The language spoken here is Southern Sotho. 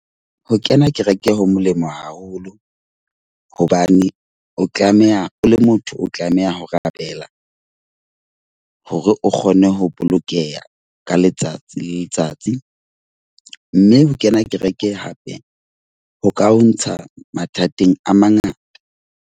Ho kena kereke ho molemo haholo. Hobane o tlameha o le motho. O tlameha ho rapela hore o kgone ho bolokeha ka letsatsi le letsatsi. Mme ho kena kereke hape ho ka ho ntsha mathateng a mangata.